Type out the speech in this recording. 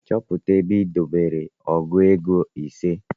Chọpụta ebe i debere ọgụ ego ise